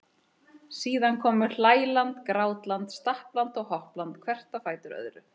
Síðan komu hlæland, grátland, stappland og hoppland hvert á fætur öðru.